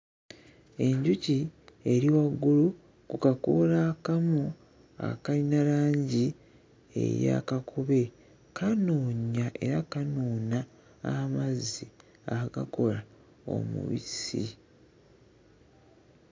Obudde bwa misana. Ennyanja erimu ebiyaziyazi. Abasajja babiri bayimiridde ku byazi. Ebire.